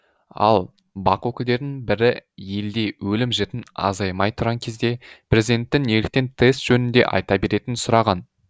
ал бақ өкілдерінің бірі елде өлім жітім азаймай тұрған кезде президенттің неліктен тест жөнінде айта беретінін сұраған